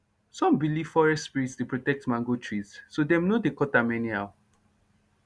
some believe forest spirits dey protect mango trees so dem no dey cut am anyhow